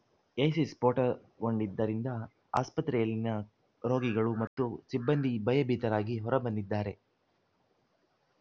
AC ಸ್ಫೋಟಗೊಂಡಿದ್ದರಿಂದ ಆಸ್ಪತ್ರೆಯಲ್ಲಿನ ರೋಗಿಗಳು ಮತ್ತು ಸಿಬ್ಬಂದಿ ಭಯಭೀತರಾಗಿ ಹೊರಬಂದಿದ್ದಾರೆ